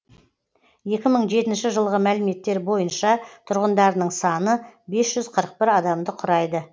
екі мың жетінші жылғы мәліметтер бойынша тұрғындарының саны бес жүз қырық бір адамды құрайды